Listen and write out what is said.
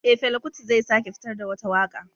Eh, Fela kuti zai sake fitar da wata waka